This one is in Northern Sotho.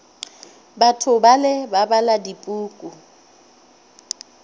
batho bale ba bala dipuku